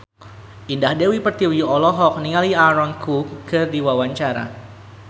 Indah Dewi Pertiwi olohok ningali Aaron Kwok keur diwawancara